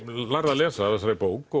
lærði að lesa af þessari bók